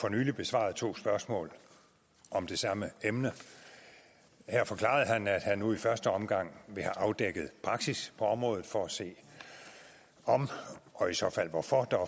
for nylig besvaret to spørgsmål om det samme emne her forklarede han at han nu i første omgang vil have afdækket praksis på området for at se om og i så fald hvorfor der